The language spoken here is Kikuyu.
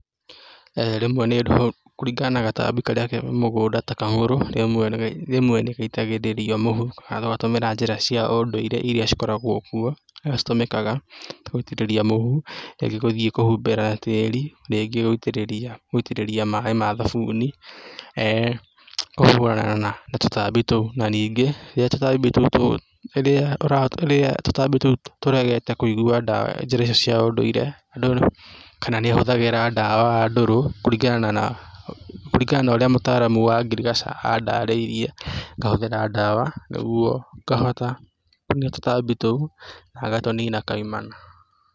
Rĩmwekũringana na gatambi karĩa ke mũgũnda, ta kang'ũrũ, rĩmwe nĩ gaitagĩrĩrio mũhu, kana ũgatũmĩra njĩra cia ũndũire iria cikoragwo kuo na citũmĩkaga ta gũitĩrĩria mũhu, rĩngĩ gũthiĩ kũhumbĩra tĩri, rĩngĩ gũitĩrĩria, gũitĩrĩria maĩ ma thabuni, kũhũrana na tũtambi tou, na ningĩ rĩrĩa tũtambi tũu hũthagĩra dawa ndũrũ kũringana na, kũringana na ũrĩa mũtaramu wa ngirigaca andarĩirie, ngahũthĩra dawa nĩguo ngahota kũnina tũtambi tũu, na ngatũnina kaimana.